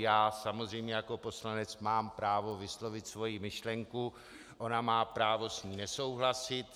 Já samozřejmě jako poslanec mám právo vyslovit svoji myšlenku, ona má právo s ní nesouhlasit.